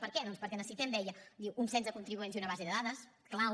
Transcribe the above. per què doncs perquè necessitem deia diu un cens de contribuents i una base de dades clau